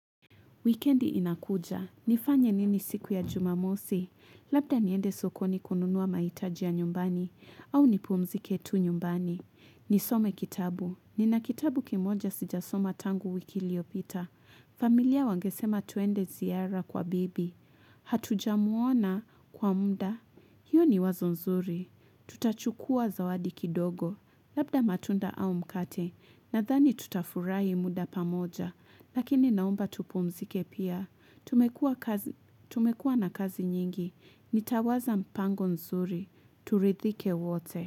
Weekendi inakuja, nifanye nini siku ya jumamosi, labda niende sokoni kununuwa maitaji nyumbani, au nipumzike tu nyumbani. Nisome kitabu, nina kitabu kimoja sijasoma tangu wiki iliopita. Familia wangesema tuende ziara kwa bibi, hatuja muona kwa mda. Hiyo ni wazonzuri, tutachukua zawadi kidogo, labda matunda au mkate, na dhani tutafurahi muda pamoja. Lakini naomba tupumzike pia, tumekua na kazi nyingi, nitawaza mpango nzuri, turidhike wote.